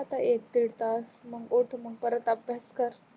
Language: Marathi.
एक दिड तास मग उठ मग परत अभ्यास कर